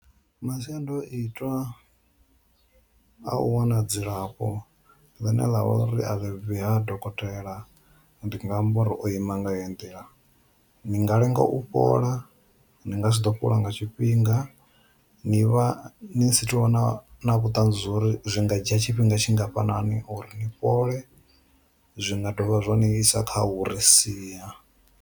Masiandoitwa a u wana dzilafho ḽine ḽa uri a vhe ha dokotela ndi nga amba uri o ima nga heyi nḓila, ni nga lenga u fhola, ni nga si ḓo fhola nga tshifhinga, ni vha ni sathu vha na vhuṱanzi uri zwi nga dzhia tshifhinga tshingafhani uri ni fhole, zwi nga dovha zwa ni isa kha u ri sia.